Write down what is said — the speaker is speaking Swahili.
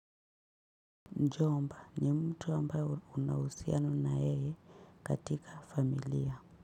Mjomba ni mtu ambayo una uhusiano na yeye katika familia.